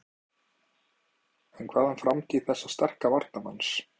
En hvað um framtíð þessa sterka varnarmanns?